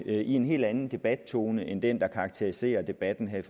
i en helt anden debattone end den der karakteriserer debatten her